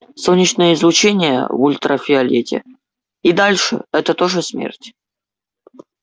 солнечное излучение в ультрафиолете и дальше это тоже смерть